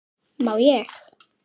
má ég!